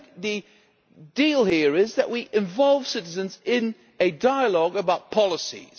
I think the deal here is that we involve citizens in a dialogue about policies.